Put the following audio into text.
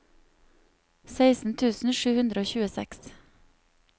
seksten tusen sju hundre og tjueseks